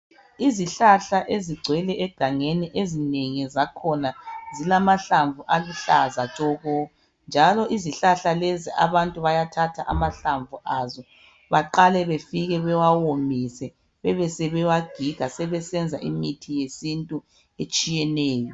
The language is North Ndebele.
Izihlahla ezigcwele egangeni ezinengi zakhona zilamahlamvu aluhlaza tshoko njalo izihlahla lezi abantu bayathatha amahlamvu aso baqale bafike bewawomise bebesebewagiga sebesenza imithi yesintu etshiyeneyo.